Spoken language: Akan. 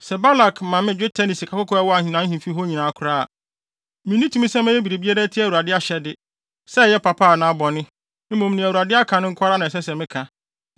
‘Sɛ Balak ma me dwetɛ ne sikakɔkɔɔ a ɛwɔ nʼahemfi hɔ nyinaa koraa a, minni tumi sɛ mɛyɛ biribi atia Awurade ahyɛde, sɛ ɛyɛ papa anaa bɔne.’ Mmom nea Awurade aka no nko ara na ɛsɛ sɛ meka.